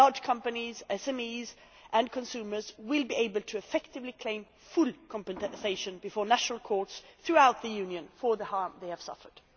Large companies, SMEs and consumers will be able to effectively claim full compensation before national courts throughout the Union for the harm they have suffered.